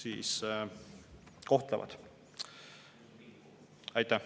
Aitäh!